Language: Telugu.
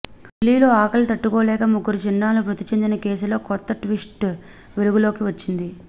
ఢిల్లీలో ఆకలికి తట్టుకోలేక ముగ్గురు చిన్నారులు మృతి చెందిన కేసులో కొత్త ట్విస్ట్ వెలుగులోకి వచ్చింది